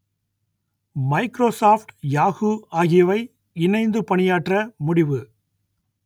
Microsoft Yahoo ஆகியவை இணைந்து பணியாற்ற முடிவு